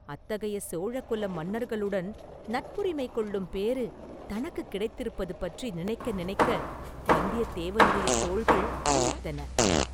அத்தகைய சோழ குல மன்னர்களுடன் நட்புரிமை கொள்ளும் பேறு தனக்குக் கிடைத்திருப்பது பற்றி நினைக்க நினைக்க வந்தியத்தேவனுடைய தோள்கள் பூரித்தன.